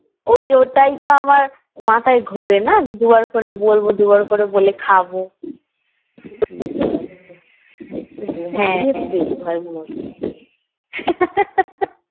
বৌমা গুলো একটু খেতে বেশি ভালো বাসে